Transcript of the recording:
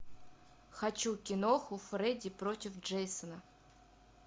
хочу киноху фредди против джейсона